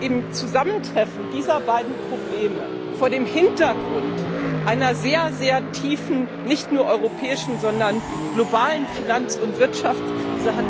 Im Zusammentreffen dieser beiden Probleme vor dem Hintergrund einer sehr tiefen, nicht nur europäischen, sondern globalen Finanz und Wirtschaftskrise hat